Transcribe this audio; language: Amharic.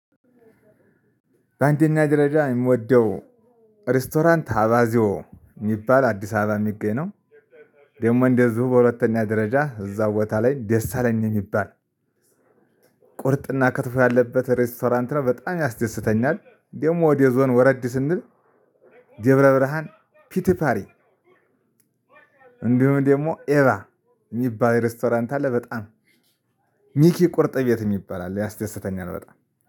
በአንዴና ደረጃ የምወደው ሬስቶራንት ሀባዜዎ የሚባል አዲስ አበባ የሚገኝ ነው። ደግሞ እንደዚሁ በሁለተኛ ደረጃ እዛው ቦታ ላይ ደስ አለኝ የሚባል ክትፎ ያለበት ሬስቶራንት ነው በጣም ያስደስተኛል። ደግሞ ወደ ዞን ወረድ ስንል ገብረ ብርሃን ፒቲ ፓሪ እንዲሁም ደግሞ ኤባ የሚባል ሬስቶራንት አለ። በጣም ሚኪ ቁርጥ ቤት የሚባል አለ ያስደስተኛል። በጣም